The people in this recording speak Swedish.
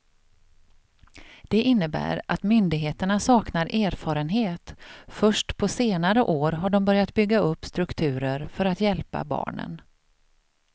Det innebär att myndigheterna saknar erfarenhet, först på senare år har de börjat bygga upp strukturer för att hjälpa barnen.